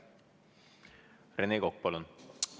Rene Kokk, palun!